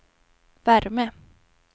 värme